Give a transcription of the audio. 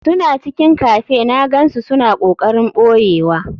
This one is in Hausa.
Suna cikin cafe na gansu suna kokarin boyewa.